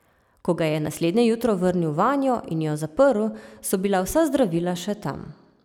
Ko ga je naslednje jutro vrnil vanjo in jo zaprl, so bila vsa zdravila še tam.